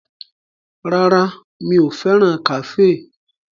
Rárá, mi ò fẹ́ràn kàféè